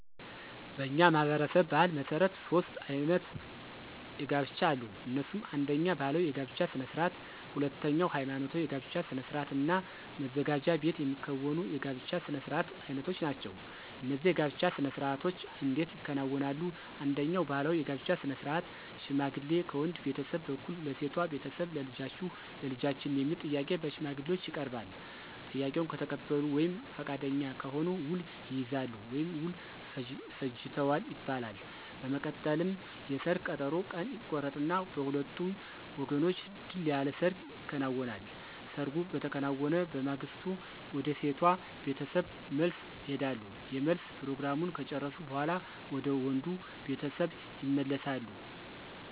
በእኛ ማህበረሰብ ባሕል መሠረት ሦስት አይነት የጋብቻ አሉ። እነሱም አነደኛ ባህላዊ የጋብቻ ስነ ስርዓት፣ ሁለተኛ ሐይማኖታዊ የጋብቻ ስነ ስርዓት እና መዘጋጃ ቤት የሚከናወኑ የጋብቻ ስነ ስርዓት አይነቶች ናቸው። እነዚህ የጋብቻ ስነ ስርዓቶች እንዴት ይከናወናሉ፣ አንደኛው ባህላዊ የጋብቻ ስነ ስርዓት ሽማግሌ ከወንድ ቤተሰብ በኩል ለሴቷ ቤተሰብ ልጃችሁን ለልጃችን የሚል ጥያቄ በሽማግሌዎች ይቀርባል፤ ጥያቄውን ከተቀበሉ ወይም ፈቃደኛ ከሆኑ ውል ይይዛሉ ወይም ውል ፈጅተዋል ይባላል። በመቀጠልም የሰርግ ቀጠሮ ቀን ይቆረጥና በሁለቱም ወገኖች ድል ያለ ሰርግ ይከናወናል። ሰርጉ በተከናወነ በማግስቱ ወደ ሴቷ ቤተሰብ መልስ ይሄዳሉ የመልስ ፕሮግራሙን ከጨረሱ በኋላ ወደ ወንዱ ቤተሰብ ይመለሳሉ።